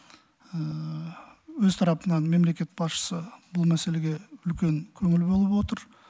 өз тарапынан мемлекет басшысы бұл мәселеге үлкен көңіл бөліп отыр